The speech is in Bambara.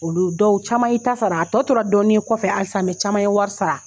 Olu dɔw caman y'i ta sara a tɔ tora dɔɔni ye kɔfɛ halisa caman ye wari sara.